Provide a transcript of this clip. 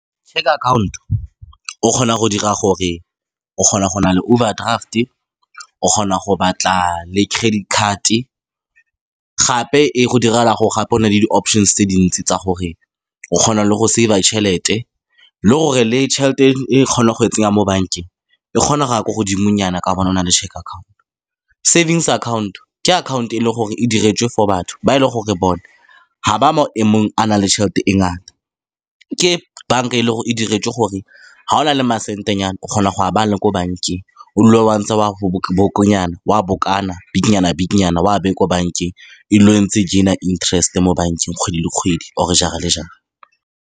Cheque-e account-o, o kgona go dira gore, o kgona go nna le overdraft-e. O kgona go batla le credit card, gape e go direla gore gape o nne le di-options-e tse dintsi tsa gore o kgona le go save-a tšhelete. Le gore le tšhelete e o kgonang go e tsenya mo bankeng, e kgona go ya kwa godimonyana. Ka gobane o na le cheque account-o. Savings account-o ke akhaonto e e leng gore e diretswe for batho ba e leng gore bone ga ba mo maemong a nang le tšhelete e ngata. Ke bank-a e e leng gore e diretswe gore, fa o na le masentenyana, o kgona go a baya le ko bankeng. O dule wa ntse wa bikinyana-bikinyana, wa beye ko bankeng e dule e ntse e gain-a interest-e mo bankeng kgwedi le kgwedi. Or-e jara le jara.